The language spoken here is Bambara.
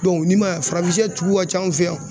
ni ma ye farafin sɛ jugu ka ca an fɛ yan.